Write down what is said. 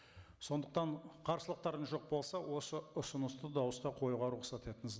сондықтан қарсылықтарыңыз жоқ болса осы ұсынысты дауысқа қоюға рұқсат етіңіз